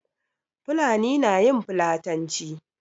Fulani na yin fulatanci.